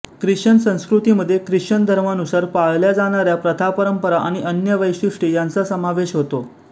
Christian संस्कृती मध्ये Christian धर्मानुसार पाळल्या जाणाऱ्या प्रथा परंपरा अणि अन्य वैशिष्ट्ये यांचा समावेश होतो